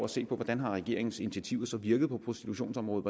se på hvordan regeringens initiativer så har virket på prostitutionsområdet